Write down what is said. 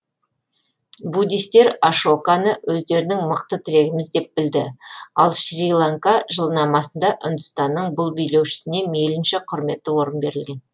буддистер ашоканы өздерінің мықты тірегіміз деп білді ал шри ланка жылнамасында үндістанның бұл билеушісіне мейлінше құрметті орын берілген